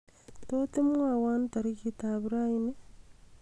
tot imwowon tagiritab rainii